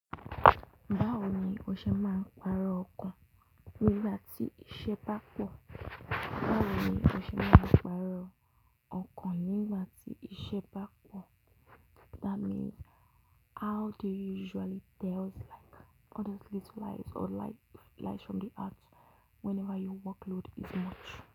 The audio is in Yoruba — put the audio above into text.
Báwo ni o ṣe máa ń pàrọ̀ ọkàn nígbà tí iṣẹ́ bá pọ̀? Báwo ni o ṣe máa ń pàrọ̀ ọkàn nígbà tí iṣẹ́ bá pọ̀? That means how do you usually tell us like all those little lies or like lies from the heart whenever your workload is much.